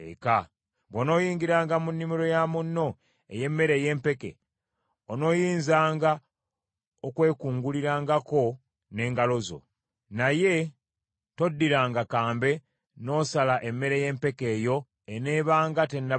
Bw’onooyingiranga mu nnimiro ya munno ey’emmere ey’empeke, onooyinzanga okwekungulirangako n’engalo zo, naye toddiranga kambe n’osala emmere y’empeke eyo eneebanga tennaba kusalibwa.”